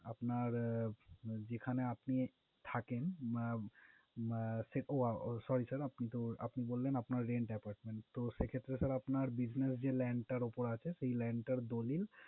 আপনার যেখানে আপনি থাকেন মা~ ওহ sorry sir আপনি তো আপনি বললেন, আপনার rent apartment । তো সেক্ষেত্রে sir আপনার business যে land টার উপরে আছে, সে land টার দলিল